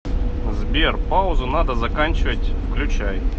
сбер паузу надо заканчивать включай